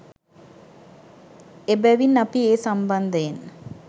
එබැවින් අපි ඒ සම්බන්ධයෙන්